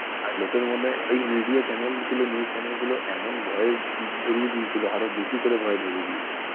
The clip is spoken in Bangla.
আর লোকের মনে ওই media channel গুলো news channel গুলো এমন ভয় ধরিয়ে দিয়েছিল, আরও বেশি করে ভয় ধরিয়ে দিয়েছিল।